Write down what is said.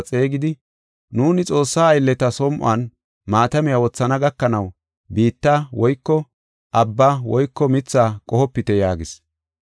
xeegidi, “Nuuni Xoossaa aylleta som7on maatamiya wothana gakanaw biitta woyko abba woyko mithaa qohopite” yaagis.